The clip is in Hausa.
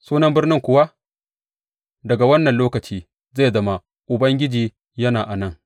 Sunan birnin kuwa daga wannan lokaci zai zama, Ubangiji yana a nan.